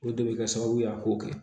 O de bɛ kɛ sababu ye a k'o kɛ